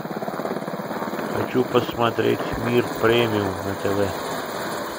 хочу посмотреть мир премиум на тв